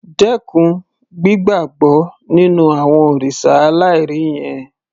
Dẹ́kun gbígbàbọ́ nínú àwọn òrìṣà aláìrí yẹn